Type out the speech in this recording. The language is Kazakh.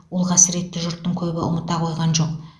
ол қасіретті жұрттың көбі ұмыта қойған жоқ